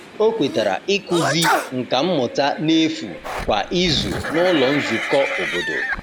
O kwetara ịkụzi nka mmụta n’efu kwa izu n’ụlọ nzukọ obodo.